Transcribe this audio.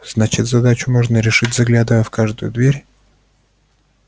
значит задачу можно решить заглядывая в каждую дверь